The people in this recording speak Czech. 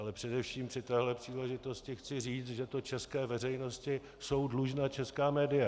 Ale především při této příležitosti chci říci, že to české veřejnosti jsou dlužna česká média.